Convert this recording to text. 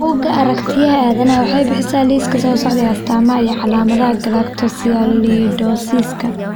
Bugga Aaragtiyaha Aadanaha waxay bixisaa liiska soo socda ee astamaha iyo calaamadaha Galactosialidosiska.